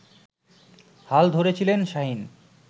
হাল ধরেছিলেন শাহীন